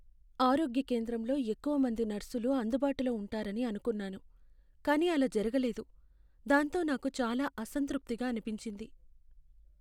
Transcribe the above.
"ఆరోగ్య కేంద్రంలో ఎక్కువ మంది నర్సులు అందుబాటులో ఉంటారని అనుకున్నాను, కానీ అలా జరగలేదు, దాంతో నాకు చాలా అసంతృప్తిగా అనిపించింది."